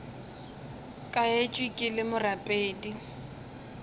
ka etšwe ke le morapedi